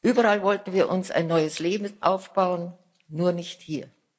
Überall wollten wir uns ein neues Leben aufbauen nur nicht hier.